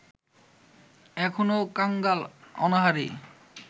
এখনও কাঙ্গাল অনাহারী